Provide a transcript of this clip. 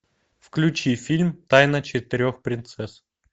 включи фильм тайна четырех принцесс